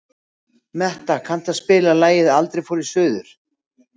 Metta, kanntu að spila lagið „Aldrei fór ég suður“?